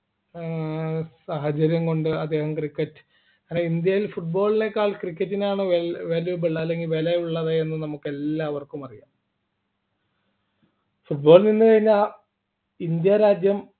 ഏർ സാഹചര്യം കൊണ്ട് അദ്ദേഹം cricket അല്ലെങ്കിൽ ഇന്ത്യയിൽ football നെക്കാൾ cricket നാണ് valuable അല്ലെങ്കിൽ വിലയുള്ളത് എന്ന് നമുക്ക് എല്ലാവർക്കും അറിയാം football ൽ നിന്ന് കഴിഞ്ഞാൽ ഇന്ത്യ രാജ്യം